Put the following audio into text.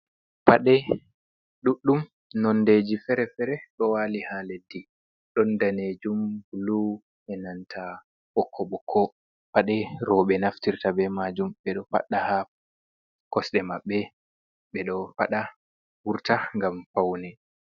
"Paɗe" ɗuɗɗum nondeji fere fere ɗo wali ha leddi ɗon danejum bulu enanta ɓokko ɓokko paɗe roɓe naftirta ɓe majum ɓeɗo faɗɗa ha kosɗe maɓɓe ɓeɗo ɓeɗo faɗa wurta ngam paune.